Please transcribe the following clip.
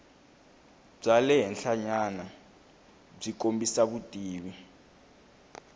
bya le henhlanyanabyi kombisa vutivi